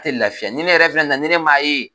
tɛ laafiya ni ne yɛrɛ fɛnɛ na na ni ne m'a ye